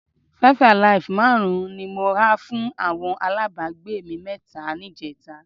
Five-alive márùn-ún ni mo ha fún àwọn alábàágbé mi mẹ́ta níjẹta